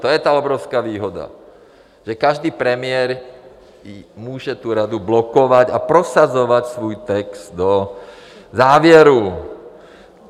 To je ta obrovská výhoda, že každý premiér může tu radu blokovat a prosazovat svůj text do závěrů.